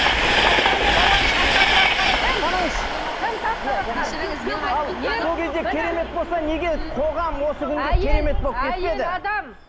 тастанды баланы тасатыватқан кім санаңызшы әйел адам